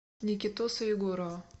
никитоса егорова